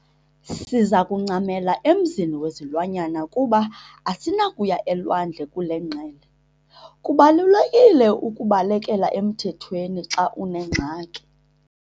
Siza kuncamela emzini wezilwanyana kuba asinakuya elwandle kule ngqele. kubalulekile ukubalekela emthethweni xa unengxaki